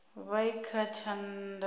vha i kha tshana tsha